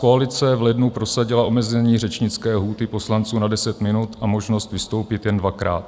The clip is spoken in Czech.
Koalice v lednu prosadila omezení řečnické lhůty poslanců na deset minut a možnost vystoupit jen dvakrát.